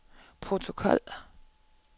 protokol